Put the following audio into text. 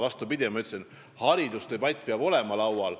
Vastupidi, ma ütlesin, et haridusdebatt peab olema laual.